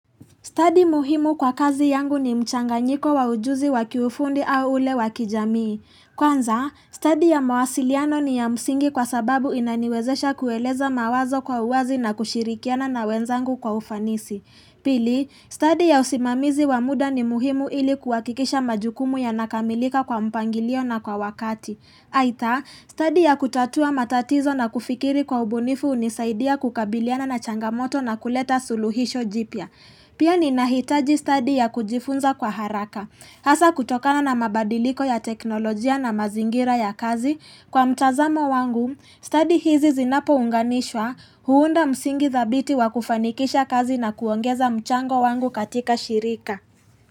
Stadi muhimu kwa kazi yangu ni mchanganyiko wa ujuzi wakiufundi au ule wakijamii. Kwanza, stadi ya mawasiliano ni ya msingi kwa sababu inaniwezesha kueleza mawazo kwa uwazi na kushirikiana na wenzangu kwa ufanisi. Pili, stadi ya usimamizi wa muda ni muhimu ili kuakikisha majukumu yanakamilika kwa mpangilio na kwa wakati. Aidha, stadi ya kutatua matatizo na kufikiri kwa ubunifu unisaidia kukabiliana na changamoto na kuleta suluhisho jipya. Pia ninahitaji stadi ya kujifunza kwa haraka. Hasa kutokana na mabadiliko ya teknolojia na mazingira ya kazi kwa mtazamo wangu, stadi hizi zinapo unganishwa huunda msingi thabiti wa kufanikisha kazi na kuongeza mchango wangu katika shirika.